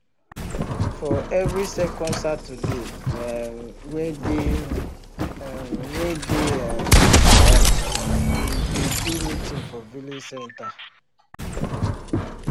for every second saturday um wey dey um wey dey um month we dey do meeting for village center